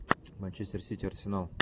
манчестер сити арсенал